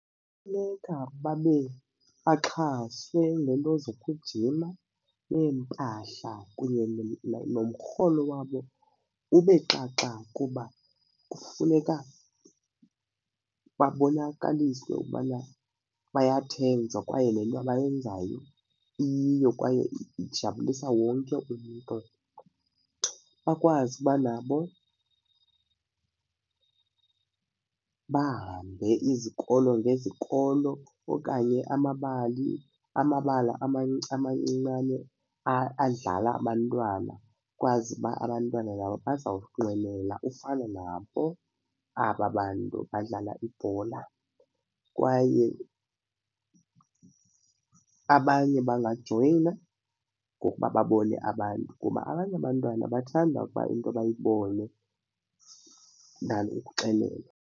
Kufuneka babe baxhaswe ngento zokujima neempahla kunye nomrholo wabo ube xaxa kuba kufuneka babonakalise into yokubana bayathenjwa kwaye le nto bayenzayo iyiyo kwaye ijabulisa wonke umntu. Bakwazi uba nabo bahambe izikolo ngezikolo okanye amabali, amabala amancinane adlala abantwana kwazi uba abantwana nabo bazawunqwenela ufana nabo aba bantu badlala ibhola. Kwaye abanye bangajoyina ngokuba babone abantu kuba abanye abantwana bathanda ukuba into bayibone than ukuxelelwa.